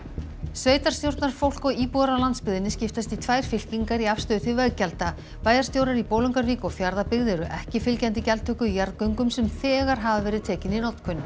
sveitarstjórnarfólk og íbúar á landsbyggðinni skiptast í tvær fylkingar í afstöðu til veggjalda bæjarstjórar í Bolungarvík og Fjarðabyggð eru ekki fylgjandi gjaldtöku í jarðgöngum sem þegar hafa verið tekin í notkun